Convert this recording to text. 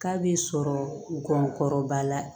K'a b'i sɔrɔ gɔngɔrɔ kɔrɔba la